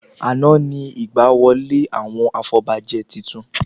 Àná ni ìgbà wọlé àwọn afọbajẹ titun